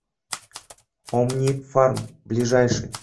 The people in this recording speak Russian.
омнифарм ближайший